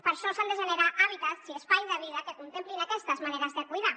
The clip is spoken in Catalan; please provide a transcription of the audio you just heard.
per això s’han de generar hàbitats i espais de vida que contemplin aquestes maneres de cuidar